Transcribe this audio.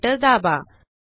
enter दाबा